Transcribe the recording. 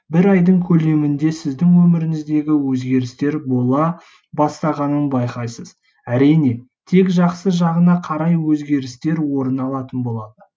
бір айдың көлемінде сіздің өміріңізде өзгерістер бола бастағанын байқайсыз әрине тек жақсы жағына қарай өзгерістер орын алатын болады